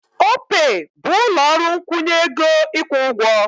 Opey bụ ụlọ ọrụ nkwụnye ego ịkwụ ụgwọ.